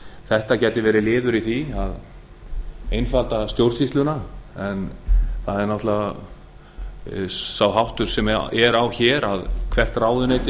þetta gæti verið liður í því að einfalda stjórnsýsluna en sá háttur sem hér er á að hvert ráðuneyti